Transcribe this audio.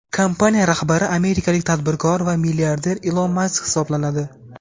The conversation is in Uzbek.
Kompaniya rahbari amerikalik tadbirkor va milliarder Ilon Mask hisoblanadi.